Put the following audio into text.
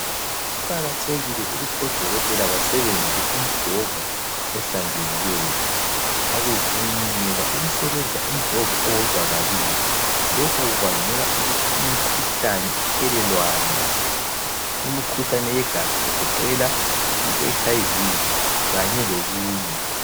Kuqakathekile ukuthi odokotela basebenzise umjovo ohlanzekileyo. Akuvunyelwa ukusebenzisa umjovo owodwa kabili. Lokhu kubangela ukuthi imikhuhlane ithelelwane. Imikhuhlane yegazi egoqela i-HIV kanye lokunye.